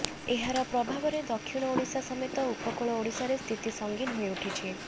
ଏହାର ପ୍ରଭାବରେ ଦକ୍ଷିଣ ଓଡ଼ିଶା ସମେତ ଉପକୂଳ ଓଡ଼ିଶାର ସ୍ଥିତି ସଙ୍ଗୀନ ହୋଇ ଉଠିଛି